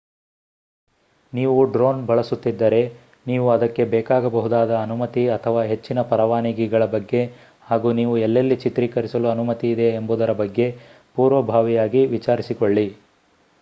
ನೀವು ಡ್ರೋನ್ ಬಳಸುತ್ತಿದ್ದರೆ ನೀವು ಅದಕ್ಕೆ ಬೇಕಾಗಬಹುದಾದ ಅನುಮತಿ ಅಥವಾ ಹೆಚ್ಚಿನ ಪರವಾನಗಿಗಳ ಬಗ್ಗೆ ಹಾಗೂ ನೀವು ಎಲ್ಲೆಲ್ಲಿ ಚಿತ್ರೀಕರಿಸಲು ಅನುಮತಿ ಇದೆ ಎಂಬುದರ ಬಗ್ಗೆ ಪೂರ್ವಭಾವಿಯಾಗಿ ವಿಚಾರಿಸಿಕೊಳ್ಳಿ